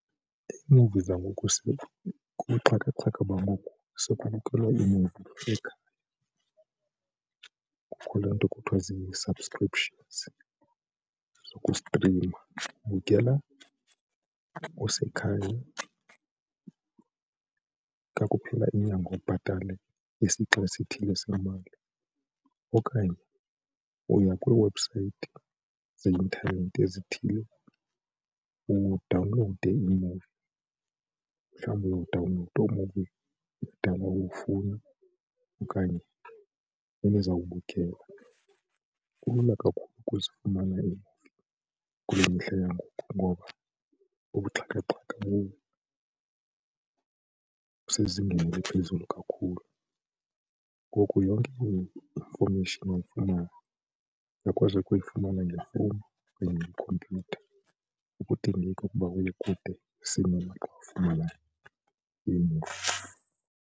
Iimuvi zangoku kubuxhakaxhaka bangoku sekwamkelwe kukho le nto kuthiwa zii-subscription zokustrima ubukela usekhaya, xa kuphela inyanga ubhatale isixa esithile semali okanye uya kwiiwebhusayithi zeintanethi ezithile udawunlowude iimuvi mhlawumbi uyawudawnlowuda imuvi kudala uyifuna okanye enizawubukela. Kulula kakhulu ukuzifumana kule mihla yangoku ngoba ubuxhakaxhaka busezingeni eliphezulu kakhulu ngoku yonke infomeyishini oyifunayo uyakwazi nokuyifumana ngefowuni kunye nekhompyutha akudingeki ukuba uye kude iimuvi.